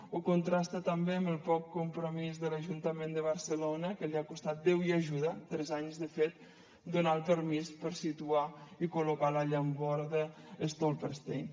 o contrasta també amb el poc compromís de l’ajuntament de barcelona que li ha costat déu i ajuda tres anys de fet a donar el permís per situar i col·locar la llamborda stolpersteine